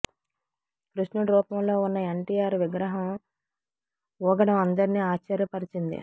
కృష్ణుడి రూపంలో ఉన్న ఎన్టీఆర్ విగ్రహం ఊగడం అందర్నీ ఆశ్చర్య పరచింది